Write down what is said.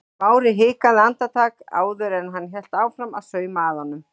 Smári hikaði andartak áður en hann hélt áfram að sauma að honum.